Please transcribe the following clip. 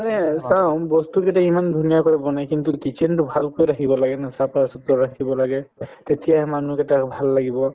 আৰে চাওঁ বস্তু কেইটা ইমান ধুনীয়া কৰি বনাই কিন্তু kitchen তো ভালকৈ ৰাখিব লাগে ন চাফাচুফা ৰাখিব লাগে তেতিয়াহে মানুহ কেইটাৰ ভাল লাগিব